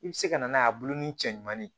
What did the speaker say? I bɛ se ka na n'a ye a bulu ni cɛ ɲumanni ye